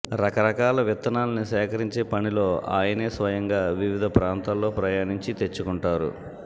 రకరకాల విత్తనాల్ని సేకరించే పనిలో ఆయనే స్వయంగా వివిధ ప్రాంతాల్లో ప్రయాణించి తెచ్చుకుంటారు